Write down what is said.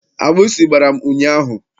Agbụsị gbara m ụnyaahụ.